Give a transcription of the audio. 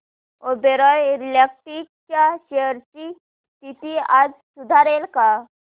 Oberoi realty च्या shares ची स्थिती आज सुधारेल का